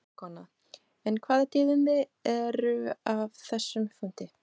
Fréttakona: En hvaða tíðindi eru af þessum fundi?